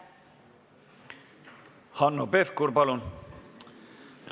Hanno Pevkur, palun!